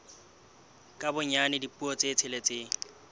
ka bonyane dipuo tse tsheletseng